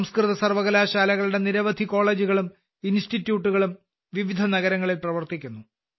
സംസ്കൃത സർവ്വകലാശാലകളുടെ നിരവധി കോളേജുകളും ഇൻസ്റ്റിറ്റ്യൂട്ടുകളും വിവിധ നഗരങ്ങളിൽ പ്രവർത്തിക്കുന്നു